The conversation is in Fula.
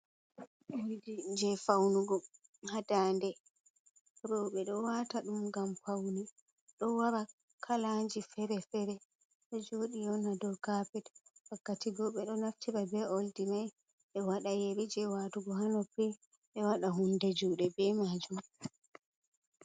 Oldi je faunugo ha dande, roɓe ɗo wata ɗum ngam paune ɗo wara kalaji fere-fere ɗo joɗi on ha dow kapet, wakkati go ɓe ɗo naftira be oldi mai be waɗa yeri je watugo ha noppi ɓe waɗa hunde juuɗe be majum.